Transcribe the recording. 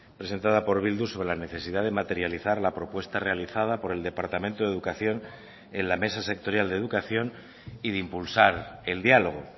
presentada por bildu sobre la necesidad de materializar la propuesta realizada por el departamento de educación en la mesa sectorial de educación y de impulsar el diálogo